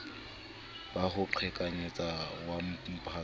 ba ho qhekanyetsa wa mphato